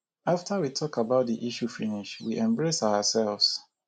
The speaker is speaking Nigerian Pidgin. after we talk about the issue finish we embrace ourselves